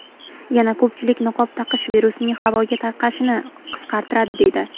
Yana ko‘pchilik niqob taqish virusning havoga tarqashini qisqartiradi, deydi.